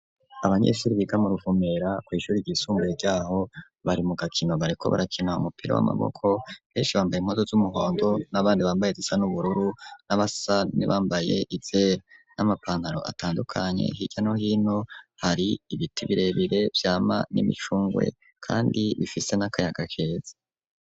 abanyesure biga mu ruvumera ku ishuri ry'isumbuye ryaho bari mu gakino bareko barakina umupira w'amaboko benshi bambaye impuzu z'umuhondo n'abandi bambaye izisa n'ubururu n'abasani bambaye ize n'amapanaro atandukanye higano hino hari ibiti birebire byama n'imicungwe kandi bifise n'akayagakezi.